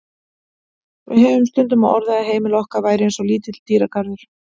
Við höfðum stundum á orði að heimili okkar væri eins og lítill dýragarður.